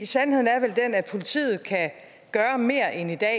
sandheden er vel den at politiet kan gøre mere end i dag